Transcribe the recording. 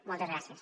moltes gràcies